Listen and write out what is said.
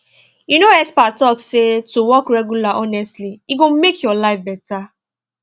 you know experts talk say to walk regular honestly e go make your life better